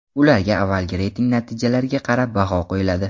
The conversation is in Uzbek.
Ularga avvalgi reyting natijalariga qarab baho qo‘yiladi.